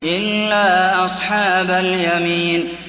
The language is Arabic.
إِلَّا أَصْحَابَ الْيَمِينِ